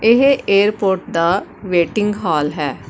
ਇਹ ਏਅਰਪੋਰਟ ਦਾ waiting hall ਹੈ।